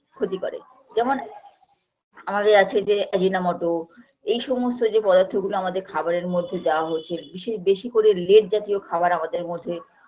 ক্ষতি করে যেমন আমাদের আছে যে আজিনা মোটো এই সমস্ত যে পদার্থগুলো আমাদের খাবারের মধ্যে দেওয়া হয়েছে বিশে বেশি করে led জাতীয় খাবার আমাদের মধ্যে